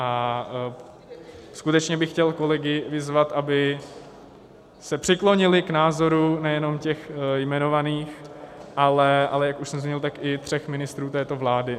A skutečně bych chtěl kolegy vyzvat, aby se přiklonili k názoru nejenom těch jmenovaných, ale jak už jsem zmínil, tak i tří ministrů této vlády.